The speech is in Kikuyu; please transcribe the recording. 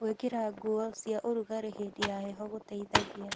Gũĩkĩra ngũo cia ũrũgarĩhĩndĩ ya heho gũteĩthagĩa